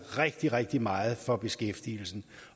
rigtig rigtig meget for beskæftigelsen